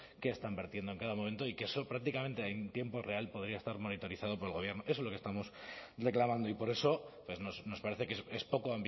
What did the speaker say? qué están vertiendo en cada momento y que eso prácticamente en tiempo real podría estar monitorizando por el gobierno eso es lo que estamos reclamando y por eso nos parece que es poco